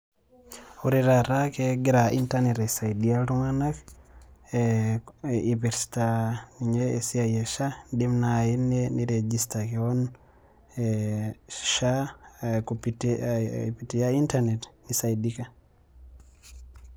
Ore taata kegira Internet aisaidia iltung'anak, ipirta inye esiai e SHA, idim nai ni register keon e SHA, ai pitia Internet ,nisaidika.